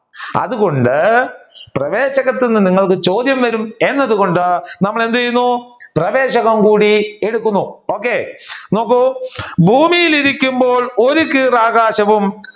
അതുകൊണ്ട് പ്രവേശകത്തു നിങ്ങൾക്ക് ചോദ്യം വരും എന്നത് കൊണ്ട് നമ്മൾ എന്ത് ചെയ്യുന്നു പ്രവേശകം കൂടി എടുക്കുന്നു okay നോക്കൂ ഭൂമിയിൽ ഇരിക്കുമ്പോൾ ഒരു ആകാശവും